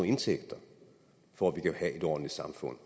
indtægter for at vi kan have et ordentligt samfund